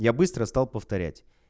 я быстро стал повторять